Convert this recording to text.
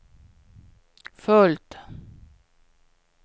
fullt